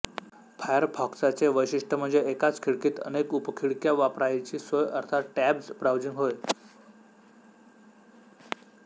फायरफॉक्साचे वैशिष्ट्य म्हणजे एकाच खिडकीत अनेक उपखिडक्या वापरायची सोय अर्थात टॅब्ड ब्राउझिंग होय